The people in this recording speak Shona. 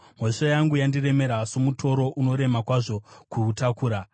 Mhosva yangu yandiremera somutoro unorema kwazvo kuutakura.